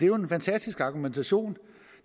jo en fantastisk argumentation